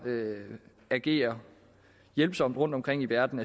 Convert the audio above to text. agerer hjælpsomt rundtomkring i verden